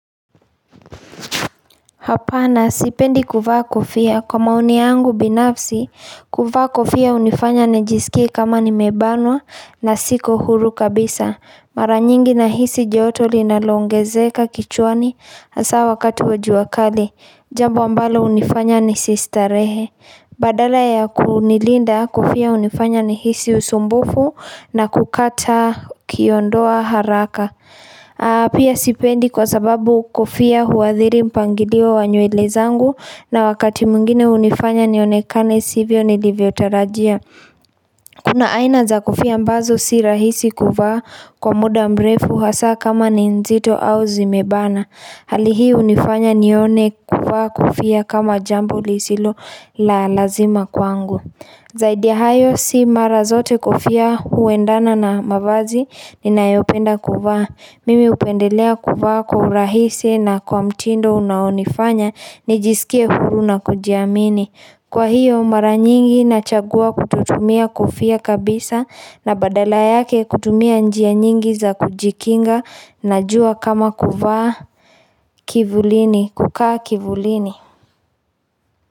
Hapana, sipendi kuvaa kofia. Kwa maoni yangu binafsi, kuvaa kofia hunifanya nijisikie kama nimebanwa na siko huru kabisa. Mara nyingi nahisi joto linaloongezeka kichwani hasa wakati wa jua kali. Jambu ambalo hunifanya nisistarehe. Badala ya kunilinda kofia hunifanya nihisi usumbufu na kukata kiondoa haraka Pia sipendi kwa sababu kofia huathiri mpangilio wa nywele zangu na wakati mwingine hunifanya nionekane sivyo nilivyotarajia Kuna aina za kofia mbazo si rahisi kuvaa kwa muda mbrefu hasa kama ni nzito au zimebana Hali hi hunifanya nione kuvaa kofia kama jambo lisilo la lazima kwangu. Zaidi ya hayo si mara zote kofia huendana na mavazi ninayopenda kuvaa. Mimi hupendelea kuvaa kwa urahisi na kwa mtindo unaonifanya ni jisikie huru na kujiamini. Kwa hiyo mara nyingi nachagua kutotumia kofia kabisa na badala yake kutumia njia nyingi za kujikinga na jua kama kuvaa. Kivulini, kukaa kivulini.